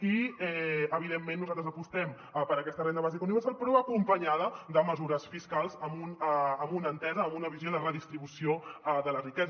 i evidentment nosaltres apostem per aquesta renda bàsica universal però acompanya da de mesures fiscals amb una entesa amb una visió de redistribució de la riquesa